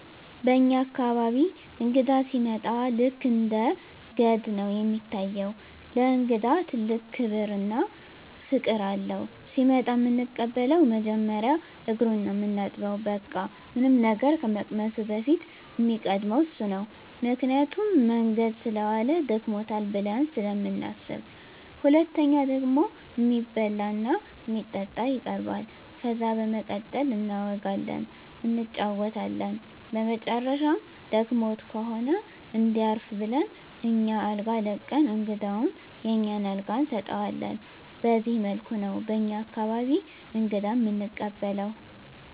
በኛ አካባቢ እንግዳ ሲመጣ ልክ እንደ ገድ ነው እሚታየው። ለእንግዳ ትልቅ ክብር እና ፍቅር አለው። ሲመጣ እምንቀበለው መጀመሪያ እግሩን ነው ምናጥበው በቃ ምንም ነገር ከመቅመሱ በፊት እሚቀድመው እሱ ነው ምክንያቱም መንገድ ሰለዋለ ደክሞታል ብለን ስለምናስብ። ሁለተኛው ደግሞ እሚበላ እና እሚጠጣ ይቀርባል። ከዛ በመቀጠል እናወጋለን እንጫወታለን በመጨረሻም ደክሞት ከሆነ እንዲያርፍ ብለን አኛ አልጋ ለቀን እንግዳውን የኛን አልጋ እንሰጠዋለን በዚህ መልኩ ነው በኛ አካባቢ እንግዳ እምንቀበለው።